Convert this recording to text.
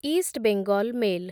ଇଷ୍ଟ Bengal mail